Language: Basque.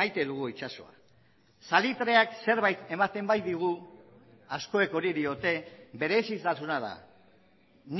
maite dugu itsasoa salitreak zerbait ematen baitigu askok hori diote berezitasuna da